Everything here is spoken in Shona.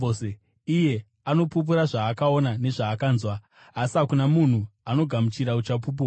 Iye anopupura zvaakaona nezvaakanzwa, asi hakuna munhu anogamuchira uchapupu hwake.